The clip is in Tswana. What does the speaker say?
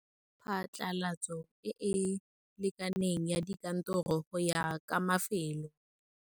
Phatlalatso e e sa lekaneng ya dikantoro go ya ka mafelo.